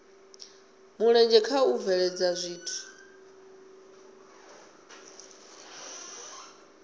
mulenzhe kha u bveledza zwithu